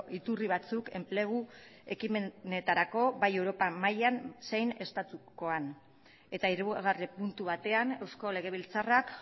iturri batzuk enplegu ekimenetarako bai europa mailan zein estatukoan eta hirugarren puntu batean eusko legebiltzarrak